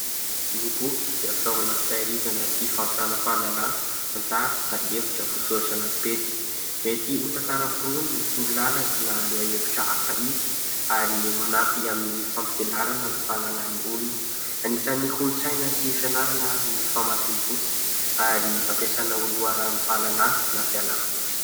Ny boky dia fitaovana fitahirizana sy fampitana fahalalana tantara na hevitra voasoratra anaty pejy, mety ho tantara foronina, torolalana, lohahevitra hafa izy ary manampy amin'ny fampianarana ny fahalalany olona, anisan'ny kolontsaina sy fianarana ny famakiam-boky ary ampiasana ho loharanom-pahalalana na fialamboly.